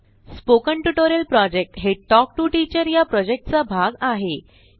spoken tutorial project हे talk to teacher या प्रॉजेक्टचा भाग आहे